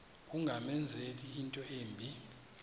ungamenzela into embi